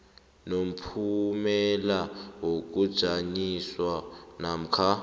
nomphumela wokujanyiswa namkha